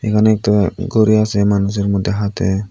এখানে একতা ঘড়িও আছে মানুষের মধ্যে হাতে।